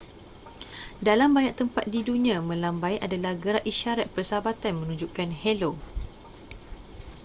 dalam banyak tempat di dunia melambai adalah gerak isyarat persahabatan menunjukkan helo